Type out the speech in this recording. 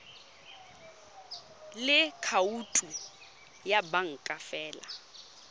le khoutu ya banka fa